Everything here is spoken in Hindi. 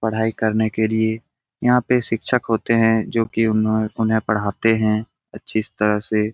पढ़ाई करने के लिए यहाँ पे शिक्षक होते हैं जो की उन्हों उन्हें पढ़ाते हैं तरह से।